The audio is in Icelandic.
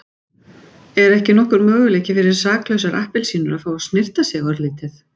Er ekki nokkur möguleiki fyrir saklausar appelsínur að fá að snyrta sig örlítið.